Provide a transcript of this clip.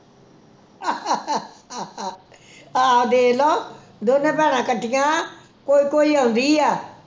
ਆਹ ਦੇਖ ਲੋ ਦੋਨੇ ਭੈਣਾਂ ਇਕੱਠੀਆਂ ਕੋਈ ਕੋਈ ਆਉਂਦੀ ਐ